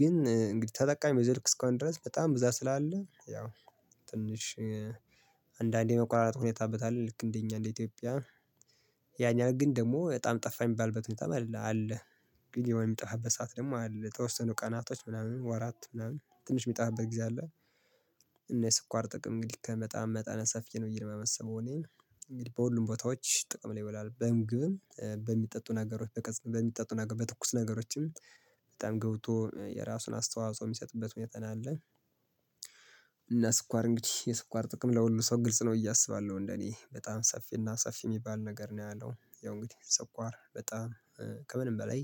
ግን እንግዲህ ተጠቃሚ በዛው ልክ እስከሆነ ድረስ በጣም ብዛት ስላለ ትንሽ አንዳንዴ መቆራረጥ ሁኔታ ይታይበታል። እንደኛ እንደ ኢትዮጵያ ያን ያህል ግን ደግሞ በጣም ጠፋ የሚባልበት በጣም አለ አለ። ግን የሚጠፋበት ሰዓት ደግሞ አለ የወስኑ ቀናቶች ምናምን ወራት ምናምን ትንሽ የሚጠፋበት ጊዜ አለ። እና የስኳር ጥቅም እንግዲህ ከመጠን መጠነ ሰፊን ነው ብዬ የማስበው እኔ። እንግዲህ በሁሉም ቦታዎች ጥቅም ላይ ይውላል በምግብም በሚጠጡ ነገሮች በሚጠጡ ነገሮች በትኩስ ነገሮችም በጣም ገብቶ የራሱን አስተዋጽኦ የሚሰጥበት ሁኔታ ያለ። እና ስኳር እንግዲህ የስኳር ጥቅም ለሁሉ ሰው ግልጽ ነው አስባለሁ። እንደኔ በጣም ሰፊና ሰፊ የሚባል ነገር ነው ያለው ያው እንግዲህ ሰኳር በጣም ከምንም በላይ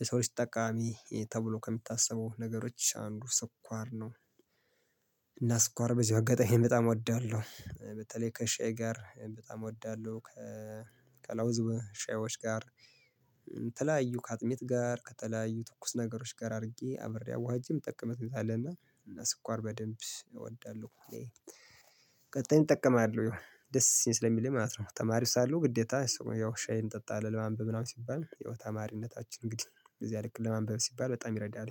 ለሰው ልጅ ጠቃሚ ተብሎ ከሚታሰበው ነገሮች አንዱ ስኳር ነው። እና ስኳር በዚሁ አጋጣሚ በጣም እወዳለሁ በተለይ ከሻይ ጋር በጣም እወዳለሁ። ከለውዝ ሻዮች ጋር የተለያዩ ከአጥሚት ጋር ከተለያዩ ትኩስ ነገሮች ጋር አድርጌ አብሬ አዋህጄ የምጠቀምበት ሁኔታ አለ። እና ስኳር በደንብ እወዳለሁ። ቀጣይ እጠቀማለሁ ደስ ስለሚለኝ ማለት ነው። ተማሪው ሳለው ግዴታ ያው ሻይ እንጠጣለን ለማንበብ ምናምን ሲባል ተማሪነታችን እንግዲህ በዚያ ልክ ለማንበብ ሲባል በጣም ይረዳል